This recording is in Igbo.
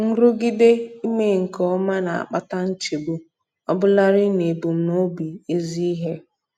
Nrụgide ime nke ọma na-akpata nchegbu, ọbụlarị n'ebumnobi ezi ihe.